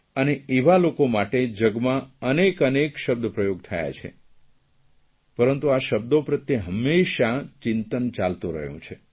અને એવા લોકો માટે જગમાં અનેક અનેક શબ્દપ્રયોગ થયા છે પરંતુ શબ્દો પ્રત્યે હંમેશાં ચિંતન ચાલતું રહ્યું છે